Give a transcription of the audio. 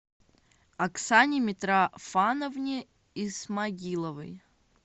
оксане митрофановне исмагиловой